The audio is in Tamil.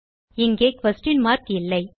இங்கே குயஸ்ஷன் மார்க் இல்லை